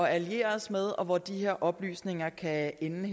alliere os med og hvor de her oplysninger kan ende